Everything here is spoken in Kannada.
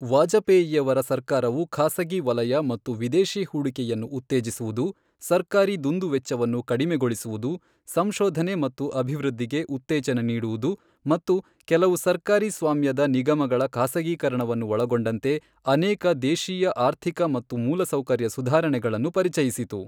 ವಾಜಪೇಯಿಯವರ ಸರ್ಕಾರವು ಖಾಸಗಿ ವಲಯ ಮತ್ತು ವಿದೇಶಿ ಹೂಡಿಕೆಯನ್ನು ಉತ್ತೇಜಿಸುವುದು, ಸರ್ಕಾರಿ ದುಂದುವೆಚ್ಚವನ್ನು ಕಡಿಮೆಗೊಳಿಸುವುದು, ಸಂಶೋಧನೆ ಮತ್ತು ಅಭಿವೃದ್ಧಿಗೆ ಉತ್ತೇಜನ ನೀಡುವುದು ಮತ್ತು ಕೆಲವು ಸರ್ಕಾರಿ ಸ್ವಾಮ್ಯದ ನಿಗಮಗಳ ಖಾಸಗೀಕರಣವನ್ನು ಒಳಗೊಂಡಂತೆ ಅನೇಕ ದೇಶೀಯ ಆರ್ಥಿಕ ಮತ್ತು ಮೂಲಸೌಕರ್ಯ ಸುಧಾರಣೆಗಳನ್ನು ಪರಿಚಯಿಸಿತು.